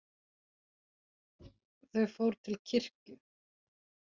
Þau fór til kirkju.